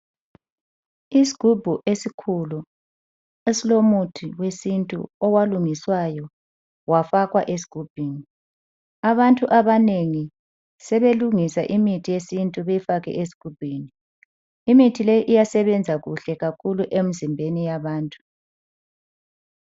Isigubhu esikhulu esilomuthi wesintu owalungiswayo wafakwa esigubhini. Abantu abanengi sebelungisa imithi yesintu beyifake esigubhini. Imithi leyi iyasebenza kuhle kakhulu emizimbeni yabantu.